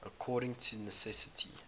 according to necessity